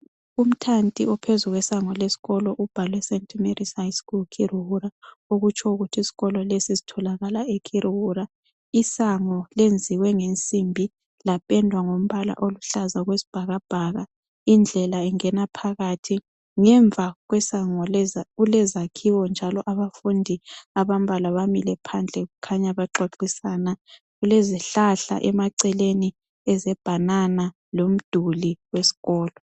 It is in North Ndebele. Umthanti ophezu kwesango lesikolo ubhalwe Saint Mary’s High School Kiruhura okutsho ukuthi isikolo lesi sitholakala eKiruhura. Isango lenziwe ngensimbi lapendwa ngombala oluhlaza okwesibhakabhaka, indlela ingena phakathi. Ngemva kwesango kulezakhiwo njalo abafundi abambalwa bamile phandle kukhanya bexoxisana. Kulezihlahla emaceleni ezebhanana lomduli esikolo.